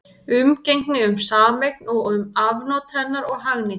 Umgengni um sameign og um afnot hennar og hagnýtingu.